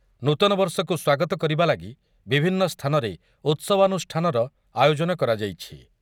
ନୂତନବର୍ଷକୁ ସ୍ୱାଗତ କରିବା ଲାଗି ବିଭିନ୍ନ ସ୍ଥାନରେ ଉତ୍ସବାନୁଷ୍ଠାନର ଆୟୋଜନ କରାଯାଇଛି ।